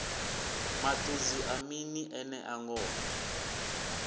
maṱudzi a mini enea ngoho